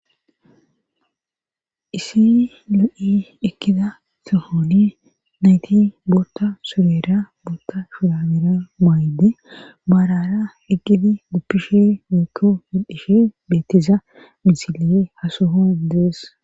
issi loo7i ekkida sohoni nayti bootta surera bootta shurabera maydi maarara eqqidi guppishe meetto medhishe bettiza misiliye hasohon dees